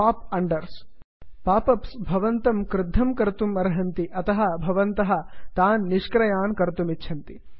pop unders pop ups भवन्तं क्रुद्धं कर्तुम् अर्हन्ति अतः भवन्तः तान् निष्क्रियान् कर्तुमिच्छन्ति